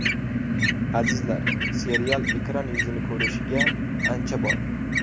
Azizlar, serial ekran yuzini ko‘rishiga ancha bor.